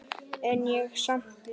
En ég er samt ljón.